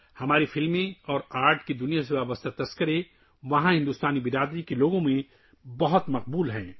ہماری فلمیں اور فن کی دنیا سے متعلق مباحث وہاں کی ہندوستانی کمیونٹی میں بہت مقبول ہیں